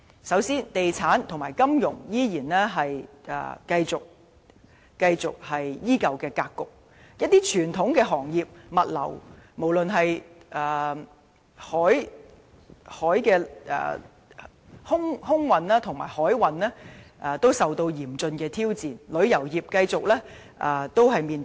首先，地產及金融為主的格局依舊，而一些傳統行業，例如物流、空運和航運也受到嚴峻挑戰，旅遊業的發展繼續面臨瓶頸。